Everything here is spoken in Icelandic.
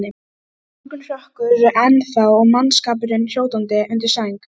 Það er morgunrökkur ennþá og mannskapurinn hrjótandi undir sæng.